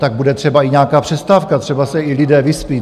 Tak bude třeba i nějaká přestávka, třeba se i lidé vyspí.